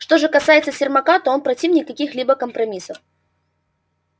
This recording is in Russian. что же касается сермака то он противник каких-либо компромиссов